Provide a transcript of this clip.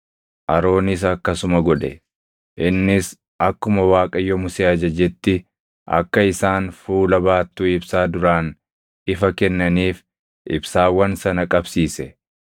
Aroonis akkasuma godhe; innis akkuma Waaqayyo Musee ajajetti akka isaan fuula baattuu ibsaa duraan ifa kennaniif ibsaawwan sana qabsiise.